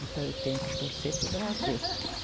Então, eu tenho que torcer para o Brasil.